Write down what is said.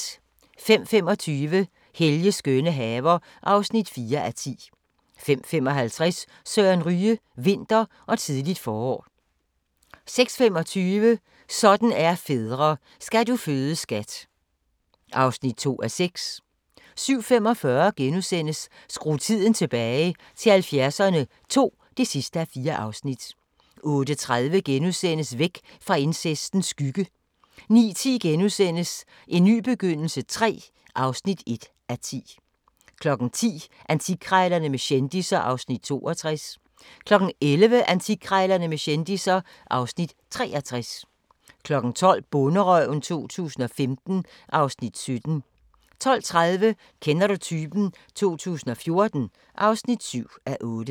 05:25: Helges skønne haver (4:10) 05:55: Søren Ryge: Vinter og tidligt forår 06:25: Sådan er fædre - Skal du føde skat (2:6) 07:45: Skru tiden tilbage – til 70'erne II (4:4)* 08:30: Væk fra incestens skygge * 09:10: En ny begyndelse III (1:10)* 10:00: Antikkrejlerne med kendisser (Afs. 62) 11:00: Antikkrejlerne med kendisser (Afs. 63) 12:00: Bonderøven 2015 (Afs. 17) 12:30: Kender du typen? 2014 (7:8)